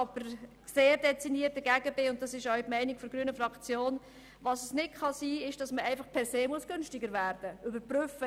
Es kann jedoch nicht sein, dass man per se jedes Jahr günstiger werden muss.